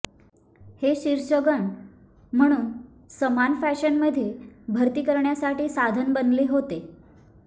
हे शीर्ष गन म्हणून समान फॅशनमध्ये भरती करण्यासाठी साधन बनले होते